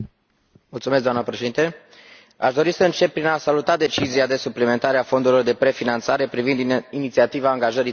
Doamnă Președinte, aș dori să încep prin a saluta decizia de suplimentare a fondurilor de prefinanțare privind Inițiativa angajării tinerilor.